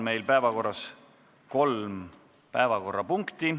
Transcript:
Meil on päevakorras kolm punkti.